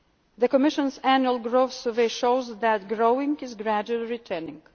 Union's economy. The Commission's Annual Growth Survey shows that growth is gradually